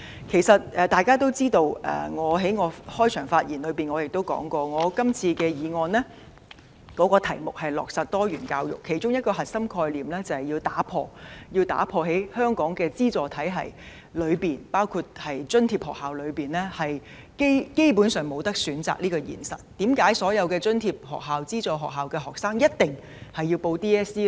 其實大家都知道，而我在開場發言時亦提到，我今次提出這項議案的課題是落實多元教育，其中一個核心概念就是要打破在香港資助體系中津貼學校基本上沒有選擇這個現實，為甚麼所有津貼學校或資助學校學生一定要報考香港中學文憑考試呢？